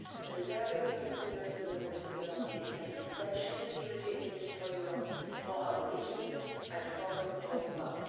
Preserving the nuclear deal with Iran is an essential security interest for Europe, for our region and for the whole world.